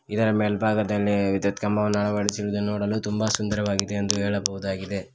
ಇದರ ಮೇಲ್ಭಾಗದಲ್ಲಿ ವಿದ್ಯುತ್ ಕಂಬವನ್ನು ಅಳವಡಿಸಿರುವುದನ್ನು ನೋಡಲು ತುಂಬ ಸುಂದರವಾಗಿದೆ ಎಂದು ಹೇಳಬಹುದಾಗಿದೆ.